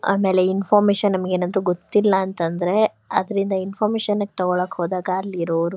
ಆಮೇಲೆ ನಮಗೇನಾದ್ರೂ ಇನ್ಫಾರ್ಮಶನ್ ಗೊತ್ತಿಲ್ಲ ಅಂತ ಅಂದ್ರೆಅದ್ರಿಂದ ಇನ್ಫಾರ್ಮಶನಿಗ್ ತಗೊಳಕ್ ಹೋದಾಗ ಅಲ್ಲಿರೋರು--